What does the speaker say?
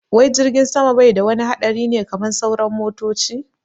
Wai jirgin sama bai da wani haɗari ne kaman sauran motoci?